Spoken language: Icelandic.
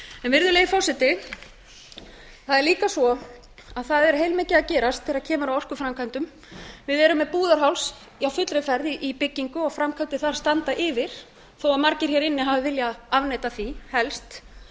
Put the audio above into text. virðulegi forseti það er líka svo að það er heilmikið að gerast þegar kemur að orkuframkvæmdum við erum með búðarháls á fullri ferð í byggingu og framkvæmdir þar standa yfir þó að margir hér inni hafi viljað afneita því helst